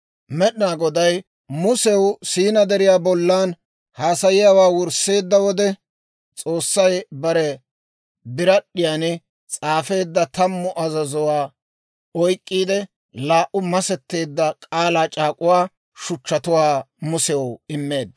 Med'inaa Goday Musew Siinaa Deriyaa bollan haasayiyaawaa wursseedda wode, S'oossay bare birad'd'iyaan s'aafeedda tammu azazuwaa oyk'k'iide laa"u massetteedda k'aalaa c'aak'uwaa shuchchatuwaa Musew immeedda.